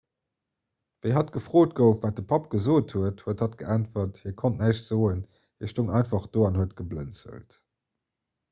wéi hatt gefrot gouf wat de papp gesot huet huet hatt geäntwert hie konnt näischt soen hie stoung einfach do an huet geblënzelt